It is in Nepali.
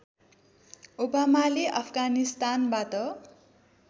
ओबामाले अफगानिस्तानबाट